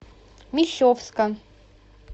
мещовска